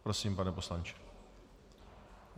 Prosím, pane poslanče.